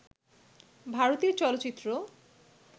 ভারতীয় চলচ্চিত্র